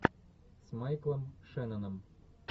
с майклом шенноном